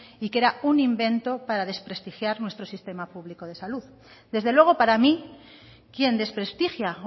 y que era un invento para desprestigiar nuestro sistema público de salud desde luego para mí quien desprestigia